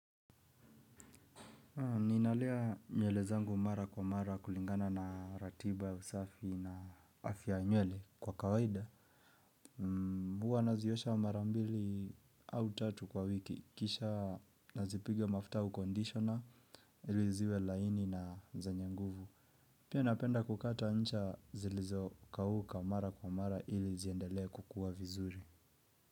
Ninalea nywele zangu mara kwa mara kulingana na ratiba ya usafi na afia ya nywele kwa kawaida. Mbua naziosha mara mbili au tatu kwa wiki. Kisha nazipiga mafuta au conditioner iliziwe laini na zenye nguvu. Pia napenda kukata ncha zilizokauka mara kwa mara ili ziendelea kukuwa vizuri.